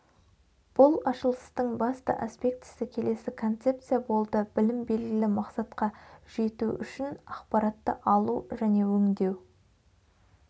бұл ашылыстың басты аспектісі келесі концепция болды білім белгілі мақсатқа жету үшін ақпаратты алу және өңдеу